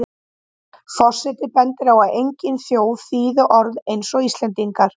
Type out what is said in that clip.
Forseti bendir á að engin þjóð þýði orð eins og Íslendingar.